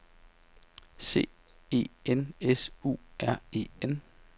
C E N S U R E N